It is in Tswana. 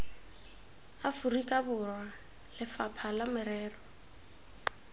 aforika borwa lefapha la merero